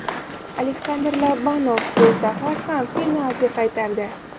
Aleksandr Lobanov bu safar ham penalti qaytardi.